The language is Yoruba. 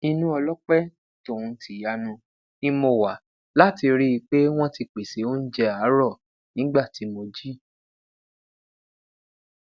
inu ọlọpẹ tohun tiyanu ni mo wa lati rii pe wọn ti pese ounjẹ aarọ nigba ti mo ji